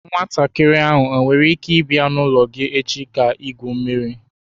Nwatakiri ahụ nwere ike ịbịa n'ụlọ gị echi ka igwu mmiri?